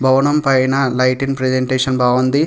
భవనం పైన lighting presentation బాగుంది.